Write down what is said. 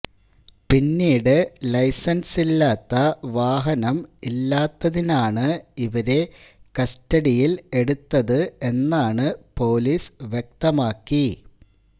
പിന്നീട് ലൈസന്സില്ലാത്ത വാഹനം ഇല്ലാത്തതിനാണ് ഇവരെ കസ്റ്റഡിയില് എടുത്തത് എന്നാണ് പോലീസ് വ്യക്തമാക്കി